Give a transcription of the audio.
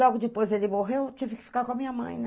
Logo depois ele morreu, eu tive que ficar com a minha mãe, né?